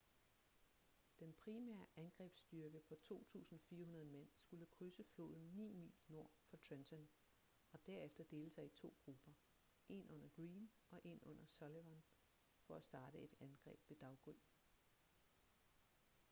den primære angrebsstyrke på 2.400 mænd skulle krydse floden ni mil nord for trenton og derefter dele sig i to grupper en under greene og en under sullivan for at starte et angreb ved daggry